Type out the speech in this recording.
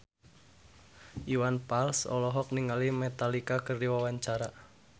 Iwan Fals olohok ningali Metallica keur diwawancara